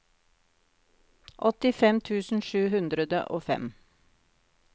åttifem tusen sju hundre og fem